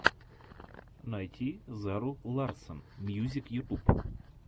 найти зару ларсон мьюзик ютуб